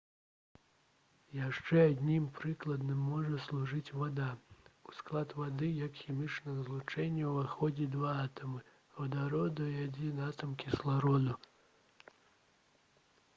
яшчэ адным прыкладам можа служыць вада у склад вады як хімічнага злучэння ўваходзяць два атамы вадароду і адзін атам кіслароду